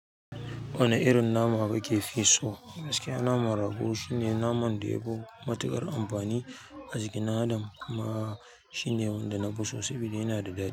Wane irin nama kake fi so? Gaskiya naman rago shine naman da yafi matuƙar amfani a jikin adam kuma shine wanda na fi so saboda yana da daɗi.